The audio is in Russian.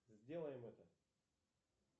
сделаем это